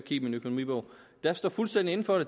i min økonomibog jeg står fuldstændig inde for